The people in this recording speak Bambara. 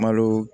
Malo